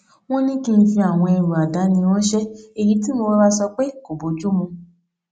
wón ní kí n fi àwọn ẹrù àdáni ránṣé èyí tí mo rọra sọ pé kò bójú mu